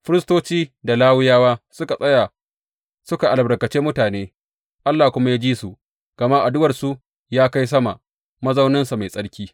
Firistoci da Lawiyawa suka tsaya suka albarkace mutane, Allah kuma ya ji su, gama addu’arsu ya kai sama, mazauninsa mai tsarki.